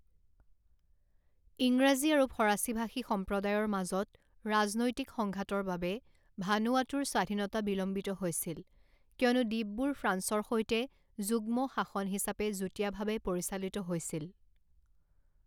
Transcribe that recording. ইংৰাজী আৰু ফৰাচী ভাষী সম্প্ৰদায়ৰ মাজত ৰাজনৈতিক সংঘাতৰ বাবে ভানুৱাটুৰ স্বাধীনতা বিলম্বিত হৈছিল কিয়নো দ্বীপবোৰ ফ্ৰান্সৰ সৈতে যুগ্মশাসন হিচাপে যুটীয়াভাৱে পৰিচালিত হৈছিল।